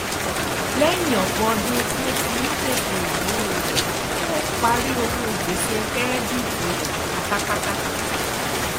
lẹyìn ọpọ ọdún tí ó fi ń ṣètò ináwó rẹ ó parí owó gbèsè kẹrẹdíìtì rẹ pátápátá